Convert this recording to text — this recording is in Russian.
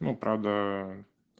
ну правда